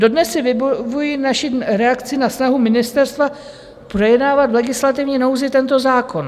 Dodnes si vybavuji naši reakci na snahu ministerstva projednávat v legislativní nouzi tento zákon.